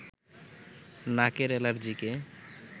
নাকের এলার্জিকে